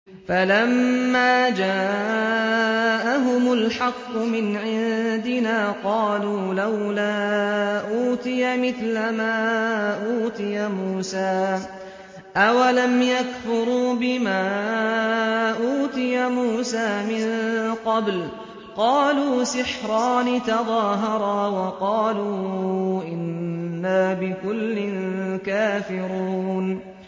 فَلَمَّا جَاءَهُمُ الْحَقُّ مِنْ عِندِنَا قَالُوا لَوْلَا أُوتِيَ مِثْلَ مَا أُوتِيَ مُوسَىٰ ۚ أَوَلَمْ يَكْفُرُوا بِمَا أُوتِيَ مُوسَىٰ مِن قَبْلُ ۖ قَالُوا سِحْرَانِ تَظَاهَرَا وَقَالُوا إِنَّا بِكُلٍّ كَافِرُونَ